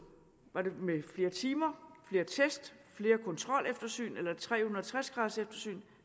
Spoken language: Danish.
var det med flere timer flere test flere kontroleftersyn eller et tre hundrede og tres graders eftersyn